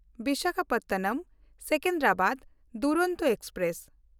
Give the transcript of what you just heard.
ᱵᱤᱥᱟᱠᱷᱟᱯᱚᱴᱱᱚᱢ–ᱥᱮᱠᱮᱱᱫᱨᱟᱵᱟᱫ ᱰᱩᱨᱚᱱᱛᱚ express